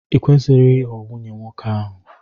I kwesịghị ịghọ nwunye nwoke ahụ!